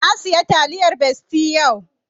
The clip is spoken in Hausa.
Na saya taliyar besti yau